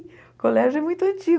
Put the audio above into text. O colégio é muito antigo.